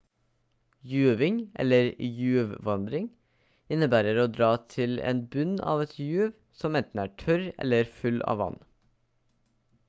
juving eller juvvandring innebærer å dra til en bunn av et juv som enten er tørr eller full av vann